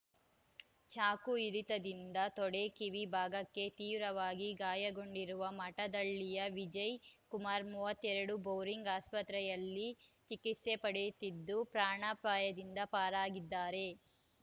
ಚಾಕು ಇರಿತದಿಂದ ತೊಡೆ ಕಿವಿ ಭಾಗಕ್ಕೆ ತೀವ್ರವಾಗಿ ಗಾಯಗೊಂಡಿರುವ ಮಠದಹಳ್ಳಿಯ ವಿಜಯ್ ಕುಮಾರ್ ಮೂವತ್ತ್ ಎರಡು ಬೋರಿಂಗ್ ಆಸ್ಪತ್ರೆಯಲ್ಲಿ ಚಿಕಿತ್ಸೆ ಪಡೆಯುತ್ತಿದ್ದು ಪ್ರಾಣಾಪಾಯದಿಂದ ಪಾರಾಗಿದ್ದಾರೆ